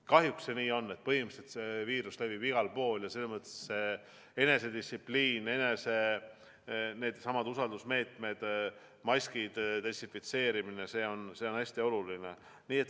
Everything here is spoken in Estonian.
Kahjuks see nii on, et põhimõtteliselt levib viirus igal pool ja enesedistsipliin, needsamad usaldusmeetmed, maskid, desinfitseerimine on hästi olulised.